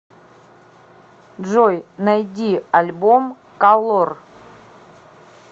джой найди альбом калор